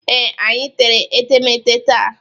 Ee, anyị tere etemete taa.